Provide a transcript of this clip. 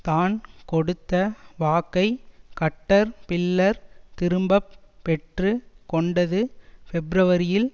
தான் கொடுத்த வாக்கை கட்டர் பில்லர் திரும்ப பெற்று கொண்டது பெப்ருவரியில்